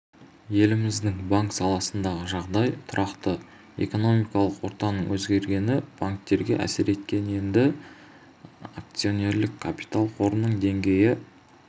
еліміздің банк саласындағы жағдай тұрақты экономикалық ортаның өзгергені банктерге әсер еткен енді акционерлік капитал қорының деңгейі